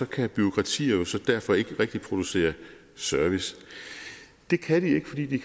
kan bureaukratier derfor ikke rigtig producere service det kan de ikke fordi de